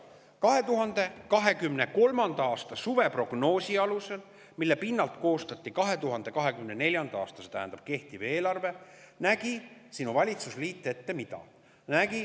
2023. aasta suveprognoosi alusel, mille pinnalt koostati 2024. aasta, see tähendab, kehtiv eelarve, nägi valitsusliit ette mida?